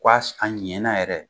a ɲɛna yɛrɛ